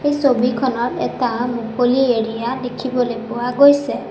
এই ছবিখনত এটা মুকলি এৰিয়া দেখিবলৈ পোৱা গৈছে।